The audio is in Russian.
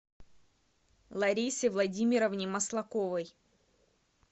ларисе владимировне маслаковой